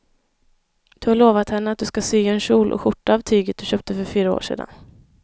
Du har lovat henne att du ska sy en kjol och skjorta av tyget du köpte för fyra år sedan.